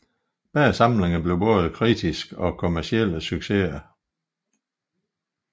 Begge samlinger blev både kritiske og kommercielle succeser